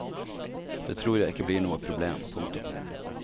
Det tror jeg ikke blir noe problem. punktum